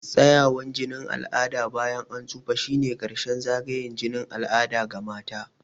Tsayawar jinin al'ada bayan an tsufa shine ƙarshen zagayen jinin al'ada ga mata.